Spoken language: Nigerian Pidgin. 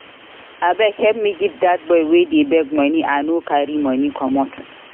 Abeg help me give dat boy wey dey beg money I no carry money commot